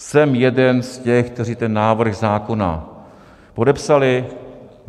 Jsem jeden z těch, kteří ten návrh zákona podepsali.